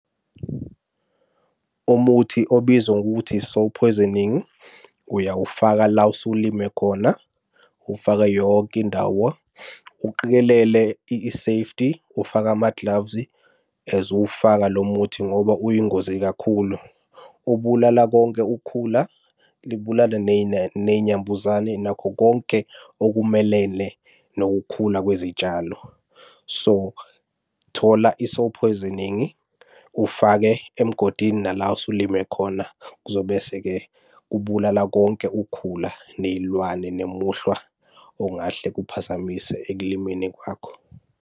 Umuthi obizwa ngokuthi uyawufaka la osulime khona, uwufake yonke indawo, uqikelele i-safety. Ufaka amaglavu as uwufaka lo muthi ngoba uyingozi kakhulu. Ubulala konke ukhula, libulale ney'nambuzane nakho konke okumelene nokukhula kwezitshalo. So, thola ufake emgodini nala osulime khona, kuzo bese-ke kubulala konke ukhula ney'lwane nemuhlwa ongahle kuphazamise ekulimeni kwakho.